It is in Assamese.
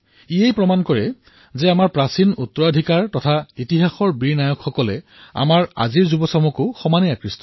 ইয়াৰ দ্বাৰাই গম পোৱা যায় যে আমাৰ প্ৰাচীন উত্তৰাধিকাৰ আৰু ইতিহাসৰ বীৰ নায়কৰ প্ৰতি আজিও আমাৰ তৰুণ প্ৰজন্ম আগ্ৰহী